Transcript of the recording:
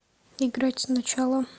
играть сначала